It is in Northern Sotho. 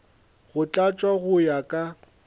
go tlatšwa go ya ka